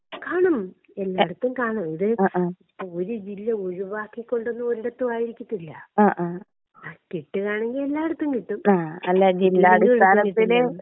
കാണും എല്ലായിടത്തും കാണും ഇത് ഒരു ജില്ല ഒഴിവാക്കി കൊണ്ട് ഒരിടത്തും ആയിരിക്കത്തില്ല. കിട്ടിയതാണെങ്കി എല്ലായിടത്തും കിട്ടും.*നോട്ട്‌ ക്ലിയർ*